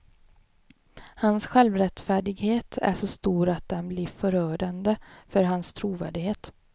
Hans självrättfärdighet är så stor att den blir förödande för hans trovärdighet.